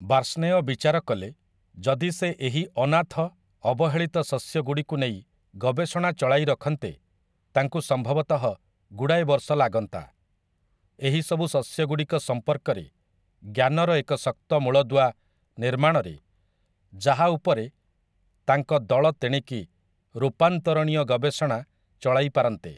ବାର୍ଷ୍ଣେୟ ବିଚାର କଲେ, ଯଦି ସେ ଏହି 'ଅନାଥ, ଅବହେଳିତ ଶସ୍ୟ'ଗୁଡ଼ିକୁ ନେଇ ଗବେଷଣା ଚଳାଇ ରଖନ୍ତେ, ତାଙ୍କୁ ସମ୍ଭବତଃ ଗୁଡ଼ାଏ ବର୍ଷ ଲାଗନ୍ତା । ଏହି ସବୁ ଶସ୍ୟଗୁଡ଼ିକ ସମ୍ପର୍କରେ ଜ୍ଞାନର ଏକ ଶକ୍ତ ମୂଳଦୁଆ ନିର୍ମାଣରେ, ଯାହା ଉପରେ ତାଙ୍କ ଦଳ ତେଣିକି ରୂପାନ୍ତରଣୀୟ ଗବେଷଣା ଚଳାଇପାରନ୍ତେ ।